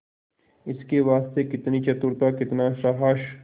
इसके वास्ते कितनी चतुरता कितना साहब